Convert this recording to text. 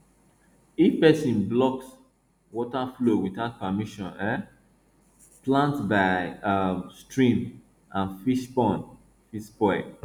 if person blocks water flow without permission um plants by um stream and fish pond fit spoil